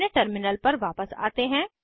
अपने टर्मिनल पर वापस आते हैं